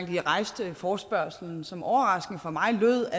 de rejste forespørgslen som overraskende for mig lød